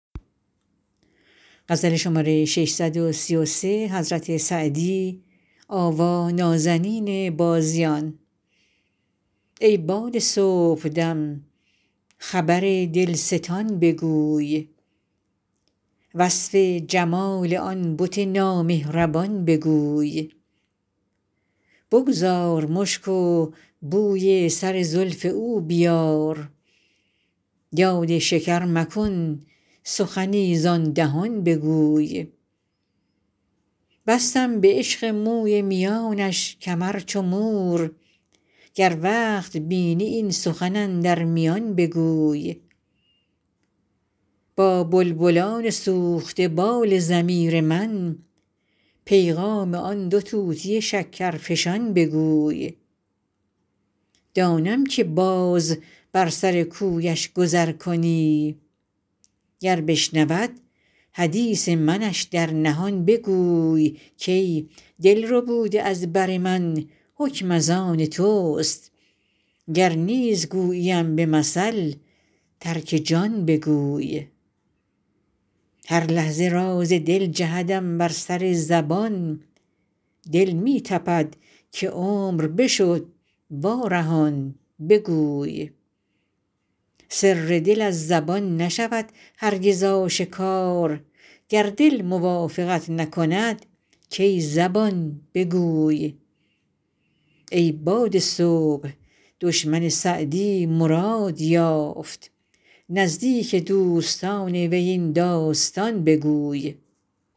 ای باد صبحدم خبر دلستان بگوی وصف جمال آن بت نامهربان بگوی بگذار مشک و بوی سر زلف او بیار یاد شکر مکن سخنی زآن دهان بگوی بستم به عشق موی میانش کمر چو مور گر وقت بینی این سخن اندر میان بگوی با بلبلان سوخته بال ضمیر من پیغام آن دو طوطی شکرفشان بگوی دانم که باز بر سر کویش گذر کنی گر بشنود حدیث منش در نهان بگوی کای دل ربوده از بر من حکم از آن توست گر نیز گوییم به مثل ترک جان بگوی هر لحظه راز دل جهدم بر سر زبان دل می تپد که عمر بشد وارهان بگوی سر دل از زبان نشود هرگز آشکار گر دل موافقت نکند کای زبان بگوی ای باد صبح دشمن سعدی مراد یافت نزدیک دوستان وی این داستان بگوی